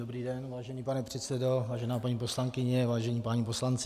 Dobrý den, vážený pane předsedo, vážená paní poslankyně, vážení páni poslanci.